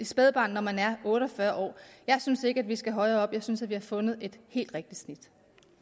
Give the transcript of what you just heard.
spædbarn når man er otte og fyrre år jeg synes ikke at vi skal højere op jeg synes at vi har fundet et helt rigtigt snit